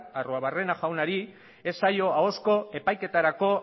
arruebarrena jaunari ez zaio ahozko epaiketarako